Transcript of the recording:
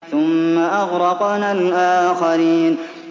ثُمَّ أَغْرَقْنَا الْآخَرِينَ